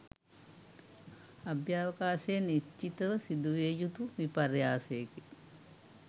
අභ්‍යවකාශයේ නිශ්චිතව සිදුවිය යුතු විපර්යාසයක